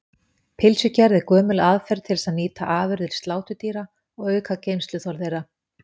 Pylsugerð er gömul aðferð til þess að nýta afurðir sláturdýra og auka geymsluþol þeirra.